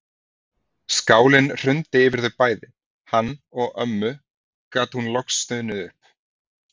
Skálinn hrundi yfir þau bæði, hann og ömmu gat hún loks stunið upp.